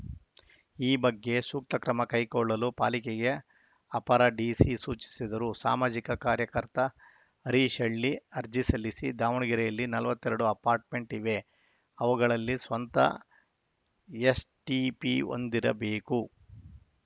ಈ ಬಗ್ಗೆ ಸೂಕ್ತ ಕ್ರಮ ಕೈಗೊಳ್ಳಲು ಪಾಲಿಕೆಗೆ ಅಪರ ಡಿಸಿ ಸೂಚಿಸಿದರು ಸಾಮಾಜಿಕ ಕಾರ್ಯಕರ್ತ ಹರೀಶ ಹಳ್ಳಿ ಅರ್ಜಿ ಸಲ್ಲಿಸಿ ದಾವಣಗೆರೆಯಲ್ಲಿ ನಲವತ್ತ್ ಎರಡು ಅಪಾಟ್‌ರ್‍ಮೆಂಟ್‌ ಇವೆ ಅವುಗಳಲ್ಲಿ ಸ್ವಂತ ಎಸ್‌ಟಿಪಿ ಹೊಂದಿರಬೇಕು